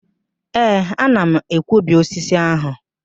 Ee, ana m akwọbi osisi ahụ